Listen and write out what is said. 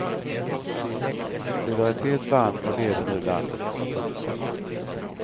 Solidaritet vann och leder nu landet. punkt